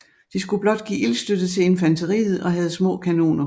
De skulle blot give ildstøtte til infanteriet og havde små kanoner